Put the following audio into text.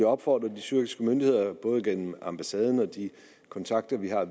opfordre de tyrkiske myndigheder både gennem ambassaden og de kontakter vi har